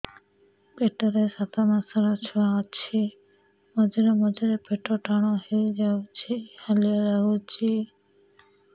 ପେଟ ରେ ସାତମାସର ଛୁଆ ଅଛି ମଝିରେ ମଝିରେ ପେଟ ଟାଣ ହେଇଯାଉଚି ହାଲିଆ ଲାଗୁଚି